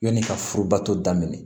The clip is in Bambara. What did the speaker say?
Yanni ka furubato daminɛ